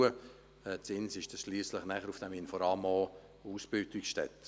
Das Inforama in Ins ist schliesslich auch eine Ausbildungsstätte.